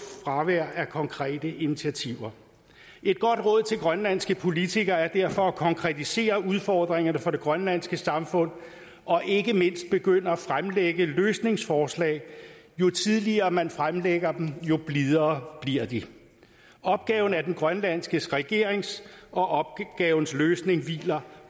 fravær af konkrete initiativer et godt råd til grønlandske politikere er derfor at konkretisere udfordringerne for det grønlandske samfund og ikke mindst begynde at fremlægge løsningsforslag jo tidligere man fremlægger dem jo blidere bliver de opgaven er den grønlandske regerings og opgavens løsning hviler